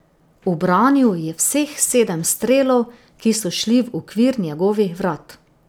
Ubranil je vseh sedem strelov, ki so šli v okvir njegovih vrat.